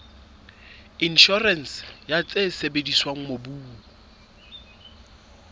inshorense ya tse sebediswang mobung